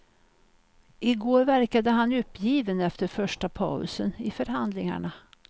I går verkade han uppgiven efter första pausen i förhandlingarna.